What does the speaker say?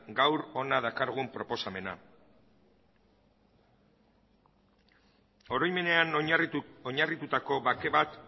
gaur hona dakargun proposamena oroimenean oinarritutako bake bat